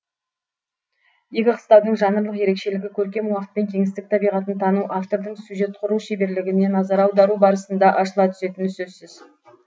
ескі қыстаудың жанрлық ерекшелігі көркем уақыт пен кеңістік табиғатын тану автордың сюжет құру шеберлігіне назар аудару барысында ашыла түсетіні сөзсіз